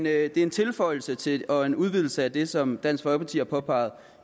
er en tilføjelse til og en udvidelse af det som dansk folkeparti har påpeget